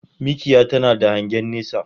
Mikiya tana da hangen nesa